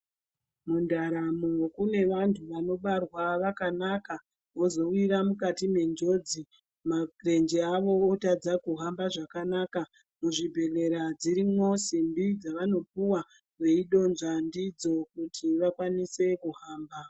Mundaramo kune vanhu vanobarwa vakanaka vozowira mukati mwenjodzi ,marenje ayo otadza kuhamba zvakanaka, muzvibhehlera dzirimwo simbi dzavanopuwa veidonzva ndidzo kuti vakwanise kuhamba.